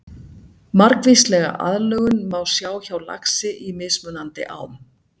Margvíslega aðlögun má sjá hjá laxi í mismunandi ám.